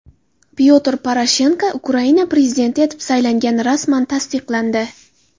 Pyotr Poroshenko Ukraina prezidenti etib saylangani rasman tasdiqlandi.